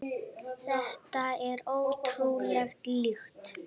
Þetta er ótrúleg lykt.